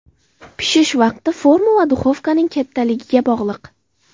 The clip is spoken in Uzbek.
Pishish vaqti forma va duxovkaning kattaligiga bog‘liq.